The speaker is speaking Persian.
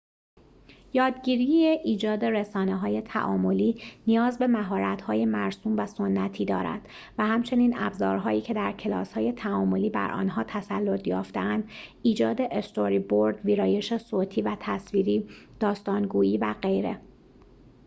یادگیری ایجاد رسانه‌های تعاملی نیاز به مهارت‌های مرسوم و سنتی دارد، و همچنین ابزارهایی که در کلاس‌های تعاملی بر آنها تسلط یافته‌اند ایجاد استوری‌برد، ویرایش صوتی و تصویری، داستان‌گویی و غیره